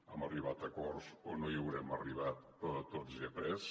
hem arribat a acords o no hi hem arribat però de tots he après